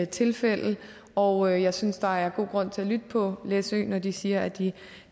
tilfælde og jeg synes der er god grund til at lytte på læsø når de siger at de